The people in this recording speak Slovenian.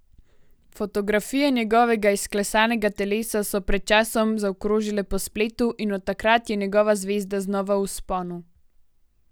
Fotografije njegovega izklesanega telesa so pred časom zakrožile po spletu in od takrat je njegova zvezda znova v vzponu.